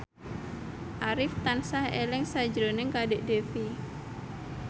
Arif tansah eling sakjroning Kadek Devi